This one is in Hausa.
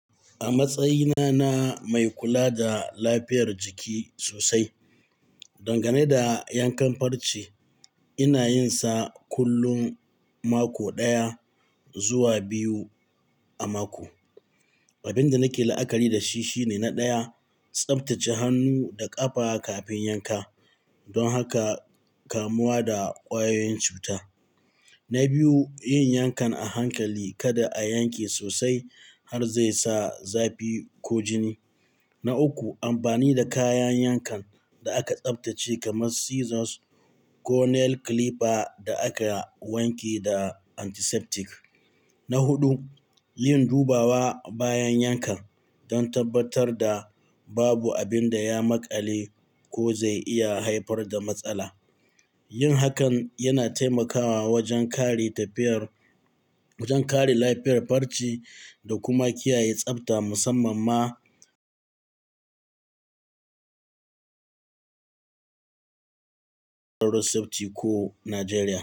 A matsayina na mai kula da lafiyar jiki sosai, dangane da yankan farce ina yin sa kullum mako ɗaya zuwa biyu a mako. Abin da nake la'akari da shi shine na ɗaya, tsaftace hannu da ƙafa kafin yanka don haka kamuwa da kwayoyin cuta. Na biyu, yin yankan a hankali kada a yanke sosai har zai sa zafi ko jini. Na uku, amfani da kayan yankan da aka tsaftace kamar scissors ko nail clipper da aka wanke da antiseptic. Na huɗu, yin dubawa bayan yankan don tabbatar da babu abin da ya maƙale ko zai iya haifar da matsala. Yin hakan yana taimakawa wajen kare tafiyar-- wajen kare lafiyar farce da kuma kiyaye tsafta musamman ma ko Najeriya.